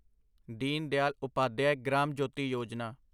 Deen Dayal Upadhyaya Gram Jyoti Yojana